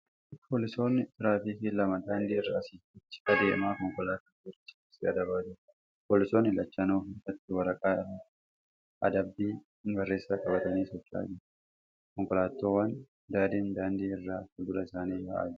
Poolisoonni tiraafikaa lama daandii. irra asii fi achi adeemaa konkolaataa seera cabse adabaa jiru. Poolisoonni lachanuu harkatti waraqaa irratti adabbii barreessan qabatanii socho'aa jiru. Konkolaataawwan adadiin daandii irra fuuldura isaanii yaa'aa jiru.